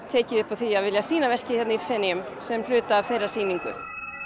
tekið upp á því að vilja sýna verkið hér í Feneyjum sem hluta af þeirra sýningu